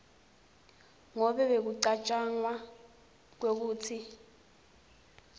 ngobe bekucatjwanga kwekutsi